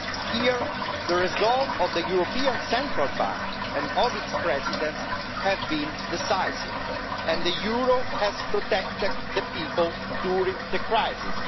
Here, the resolve of the European Central Bank and of its presidents has been decisive, and the euro has protected the people during the crisis.